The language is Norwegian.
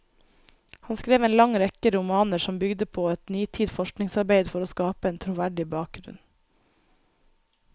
Han skrev en lang rekke romaner, som bygde på et nitid forskningsarbeid for å skape en troverdig bakgrunn.